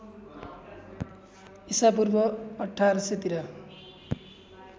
इसापूर्व १८०० तिर